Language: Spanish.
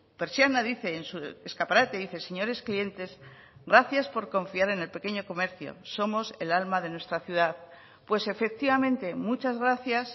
persiana dice en su escaparate dice señores clientes gracias por confiar en el pequeño comercio somos el alma de nuestra ciudad pues efectivamente muchas gracias